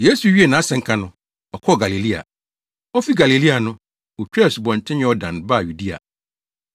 Yesu wiee nʼasɛnka no, ɔkɔɔ Galilea. Ofi Galilea no, otwaa Asubɔnten Yordan baa Yudea.